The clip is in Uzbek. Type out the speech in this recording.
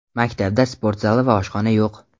Maktabda sport zali va oshxona yo‘q.